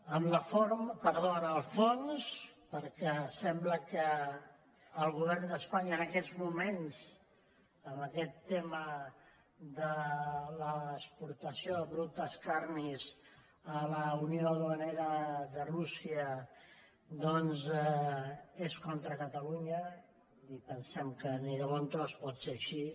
en el fons perquè sembla que el govern d’espanya en aquests moments en aquest tema de l’exportació de productes carnis a la unió duanera de rússia doncs està contra catalunya i pensem que ni de bon tros pot ser així